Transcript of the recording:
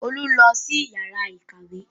Olú lọ sí yàrá ìkàwé